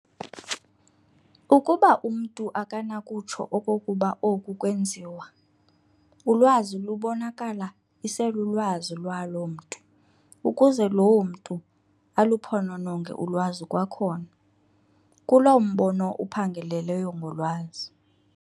Ukuba umntu akanakutsho okokuba oku kweenziwa, ulwazi lubonakala iselulwazi lwaloo mntu, ukuze loo mntu aluphonononge ulwazi kwakhona, kuloo mbono uphangaleleyo ngolwazi.